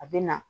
A bɛ na